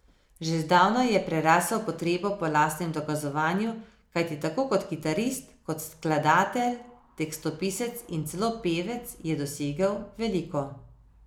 Že zdavnaj je prerasel potrebo po lastnem dokazovanju, kajti tako kot kitarist, kot skladatelj, tekstopisec in celo pevec je dosegel veliko.